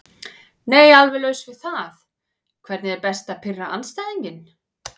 Nei alveg laus við það Hvernig er best að pirra andstæðinginn?